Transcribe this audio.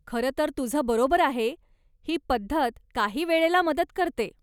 खरं तर तुझं बरोबर आहे, ही पद्धत काही वेळेला मदत करते.